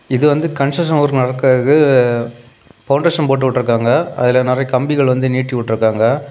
இது வந்து connection work நடக்கறக்கு பவுண்டேஷன் போட்டு விட்ருக்காங்க அதுல நிறைய கம்பிகள் வந்து நீட்டிவிட்ருக்காங்க.